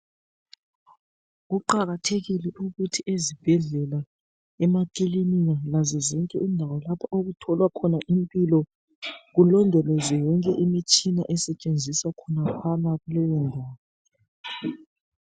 Kuqakathekile ukuthi ezibhedlela, emakilinika lazozonke indawo okutholwa khona impilo kulondolozwe yonke imitshina esetshenziswa khonaphana kuleyo ndawo.